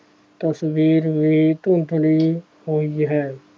ਤਸ਼ਵੀਰ ਵੀ ਧੁੰਦਲੀ ਹੋਈ ਹੈ।